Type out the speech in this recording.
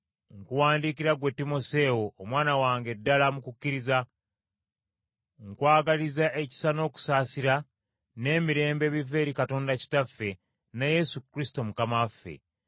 nkuwandiikira ggwe Timoseewo, omwana wange ddala mu kukkiriza. Nkwagaliza ekisa n’okusaasira, n’emirembe, ebiva eri Katonda Kitaffe ne Yesu Kristo Mukama waffe.